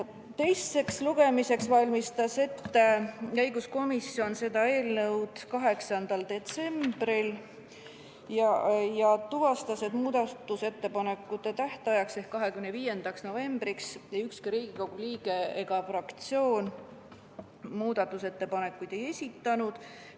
Teiseks lugemiseks valmistas õiguskomisjon seda eelnõu ette 8. detsembril ja tuvastas, et muudatusettepanekute tähtajaks ehk 25. novembriks ükski Riigikogu liige ega fraktsioon muudatusettepanekuid ei olnud esitanud.